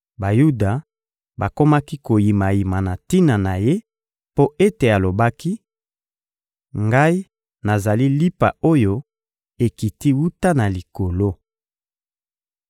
Bayuda bakomaki koyimayima na tina na Ye mpo ete alobaki: «Ngai, nazali lipa oyo ekiti wuta na Likolo.»